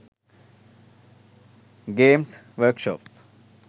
games workshop